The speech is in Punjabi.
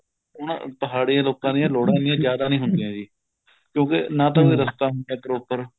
ਹੁਣ ਪਹਾੜੀ ਲੋਕਾਂ ਦੀ ਲੋੜਾਂ ਇੰਨੀਆ ਜਿਆਦਾ ਨਹੀਂ ਹੁੰਦੀਆ ਜੀ ਕਿਉਂਕਿ ਨਾ ਤਾਂ ਕੋਈ ਰਸਤਾ ਹੁੰਦਾ proper